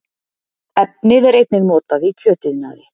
Efnið er einnig notað í kjötiðnaði